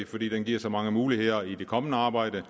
fordi den giver så mange muligheder i det kommende arbejde